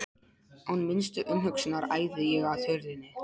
Án minnstu umhugsunar æði ég að hurðinni.